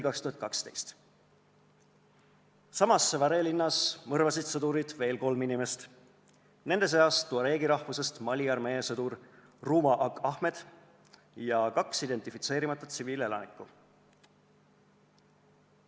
2012. aasta aprill: Sévaré linnas mõrvasid sõdurid veel kolm inimest, kelleks olid tuareegi rahvusest Mali armee sõdur Rouma Ag Ahmed ja kaks identifitseerimata tsiviilelanikku.